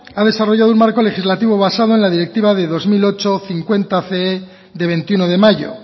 ha desarrollado un marco legislativo basado en la directiva de dos mil ocho barra cincuenta cee de veintiuno de mayo